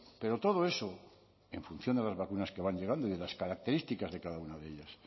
pero todo eso en función de las vacunas que van llegando y de las características de cada una de ellas